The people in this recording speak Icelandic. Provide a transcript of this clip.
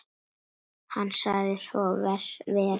Hann sagði svo vera.